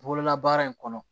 Bololabaara in kɔnɔ